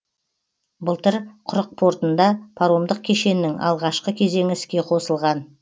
былтыр құрық портында паромдық кешеннің алғашқы кезеңі іске қосылған